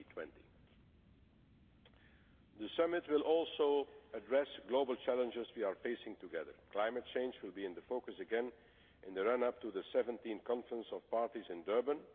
in 2020. The Summit will also address the global challenges we are facing together climate change will be in focus again in the run up to the 17th Conference of Parties in Durban.